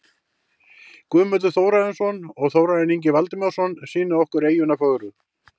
Guðmundur Þórarinsson og Þórarinn Ingi Valdimarsson sýna okkur eyjuna fögru.